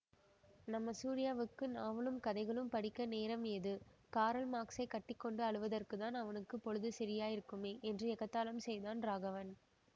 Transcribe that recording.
நம்ம சூரியாவுக்கு நாவலும் கதைகளும் படிக்க நேரம் ஏது காரல்மார்க்ஸைக் கட்டி கொண்டு அழுவதற்குத்தான் அவனுக்கு பொழுது சரியாயிருக்குமே என்று எகத்தாளம் செய்தான் ராகவன்